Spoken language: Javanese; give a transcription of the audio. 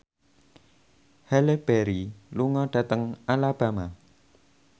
Halle Berry lunga dhateng Alabama